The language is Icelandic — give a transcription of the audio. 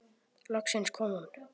Loksins kom hún.